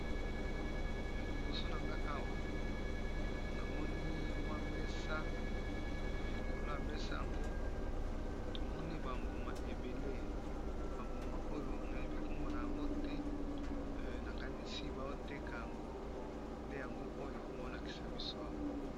Liboso na nga awa namoni mwa mesa likolo ya mesa yango tomoni ba mbuma ebele ba mbuma oyo nayebi nkombo na yango te nakanisi baoteka yango nde yango oyo baolakisa biso awa.